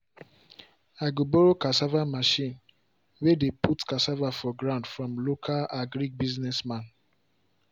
i go borrow cassava machine way dey put cassava for ground from local agric business man.